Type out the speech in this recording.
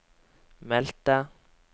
meldte